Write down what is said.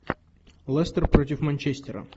лестер против манчестера